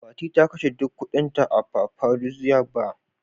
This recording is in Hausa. Fati ta kashe duk kuɗinta a "paparazzi bar "